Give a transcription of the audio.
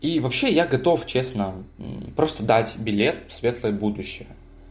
и вообще я готов честно просто дать билет в светлое будущее